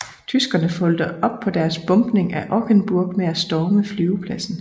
Tyskerne fulgte op på deres bombning af Ockenburg med at storme flyvepladsen